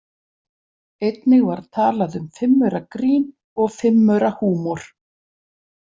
Einnig var talað um fimmauragrín og fimmaurahúmor.